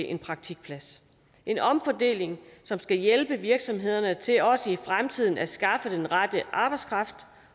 en praktikplads en omfordeling som skal hjælpe virksomhederne til også i fremtiden at skaffe den rette arbejdskraft